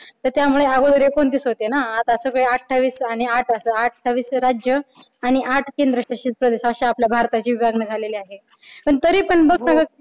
तर त्यामुळे अगोदर एकोणतीस होते ना. आता सगळे अठ्ठावीस आणि आठ असं अठ्ठावीस राज्य आणि आठ केंद्रशासित प्रदेश अशी आपल्या भारताची विभागणी झालेली आहे. पण तरीपण बघ